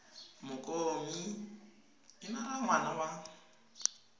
mokomi enara wa ngwana wa